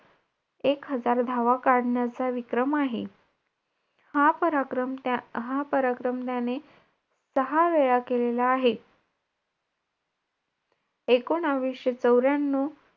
It program असतील ना तिथे. it मध्ये program